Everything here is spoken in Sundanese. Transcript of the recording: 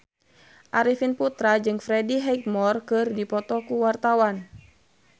Arifin Putra jeung Freddie Highmore keur dipoto ku wartawan